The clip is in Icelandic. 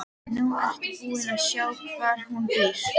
Nú ertu búin að sjá hvar hún býr.